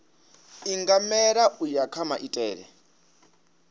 ingamela u ya kha maitele